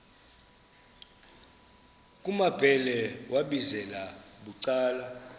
kumambhele wambizela bucala